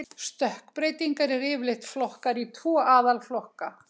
Stökkbreytingar eru yfirleitt flokkaðar í tvo aðalflokka.